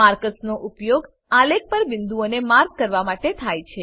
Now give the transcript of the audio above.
markers નો ઉપયોગ આલેખ પર બિંદુઓને માર્ક કરવા માટે થાય છે